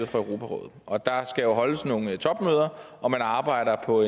for europarådet og der skal holdes nogle topmøder og man arbejder på